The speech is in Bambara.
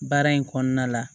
Baara in kɔnɔna la